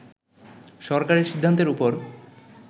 সরকারের সিদ্ধান্তের উপর